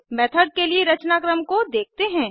method के लिए रचनाक्रम को देखते हैं